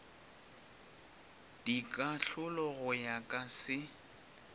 dikahlolo go ya ka se